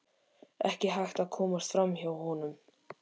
Ekki hægt að komast fram hjá honum.